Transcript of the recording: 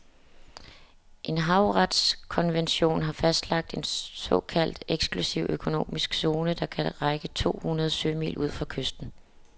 En havretskonvention har fastlagt en såkaldt eksklusiv økonomisk zone, der kan række to hundrede sømil ud fra kysten.